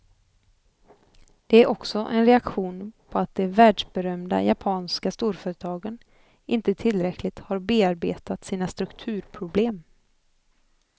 Den är också en reaktion på att de världsberömda japanska storföretagen inte tillräckligt har bearbetat sina strukturproblem.